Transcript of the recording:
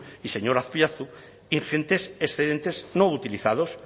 y señor azpiazu ingentes excedentes no utilizados